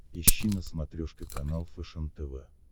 ищи на смотрешке канал фэшен тв